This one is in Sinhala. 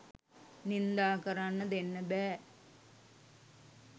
නින්දා කරන්න දෙන්න බෑ.